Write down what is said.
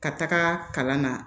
Ka taga kalan na